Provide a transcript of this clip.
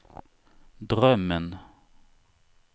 drömmen